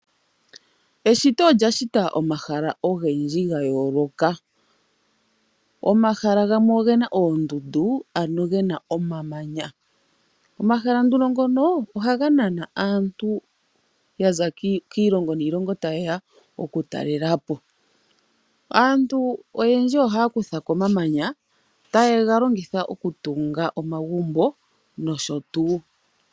Eshito olya shita omahala ogendji ga yoloka. Omahala gamwe ogena oondundu ano ge na omamanya omahala nduno ngono ohaga nana aantu ya za kiilongo niilongo taye ya oku talela po. Aantu oyendji ohaya kutha ko omamanya taye ga longitha okutunga omagumbo nosho tuu.